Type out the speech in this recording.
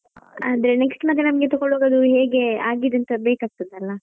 ಅದೇ ನಮ್ಗೆ next ಮತ್ತೆ ತಕೊಳ್ಳುವಾಗ ಹೇಗೆ ಆಗಿದೆ ಅಂತ ಬೇಕಾಗ್ತದಲ್ಲಾ.